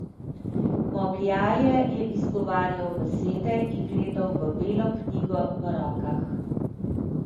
Momljaje je izgovarjal besede in gledal v belo knjigo v rokah.